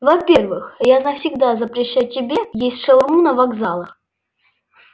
во-первых я навсегда запрещаю тебе есть шаурму на вокзалах